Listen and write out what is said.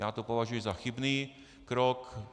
Já to považuji za chybný krok.